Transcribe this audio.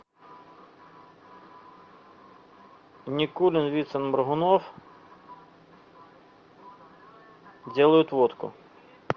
никулин вицин моргунов делают водку